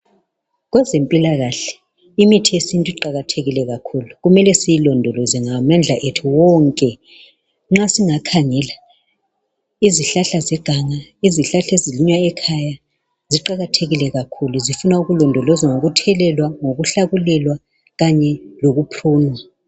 Kwezempilakahle imithi yesintu iqakathekile kakhulu kumele siyilondoloze ngamandla wethu wonke. Nxa singakhangela izihlahla zeganga, izihlahla ezilinywayo ekhaya ziqakathekile kakhulu zifuna ukulondolozwa ngokuthelelwa, ngokuhlakulelwa kanye lokuprunwa.